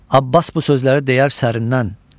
Abbas bu sözləri deyər sərindən.